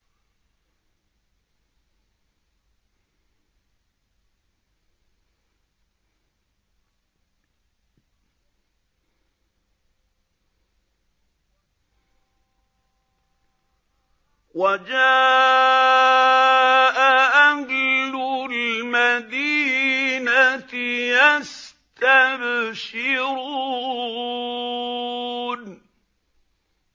وَجَاءَ أَهْلُ الْمَدِينَةِ يَسْتَبْشِرُونَ